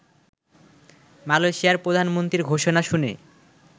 মালয়েশিয়ার প্রধানমন্ত্রীর ঘোষণা শুনে